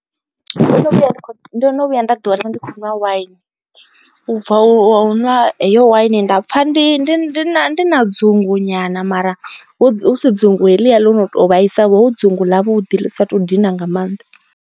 Ndo no vhuya nda kho ndo no vhuya nda ḓi wana ndi khou nwa waini ubva hu na heyo waini nda pfha ndi na ndi na dzungu nyana mara hu si dzungu helia ḽo to vhaisavho dzungu ḽa vhuḓi ḽi sa to dina nga maanḓa.